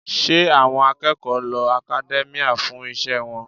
Ṣé àwọn akẹ́kọ̀ọ́ lo academia fún iṣẹ́ wọn?